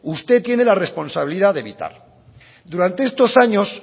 usted tiene la responsabilidad de evitar durante estos años